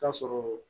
K'a sɔrɔ